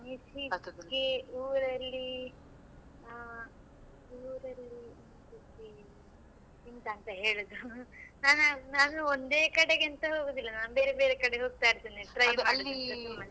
ಅನಿಸಿಕೆ ಊರಲ್ಲಿ ಹಾ ಊರಲ್ಲಿ ಅನಿಸಿಕೆ ಎಂತಂತ ಹೇಳುದು ನಾನು ನಾನು ಒಂದೇ ಕಡೆಗೆ ಅಂತ ಹೋಗುದಿಲ್ಲ ನಾನು ಬೇರೆ ಬೇರೆ ಕಡೆಗೆ ಹೋಗ್ತಾ ಇರ್ತೇನೆ .